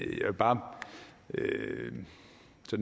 bare lidt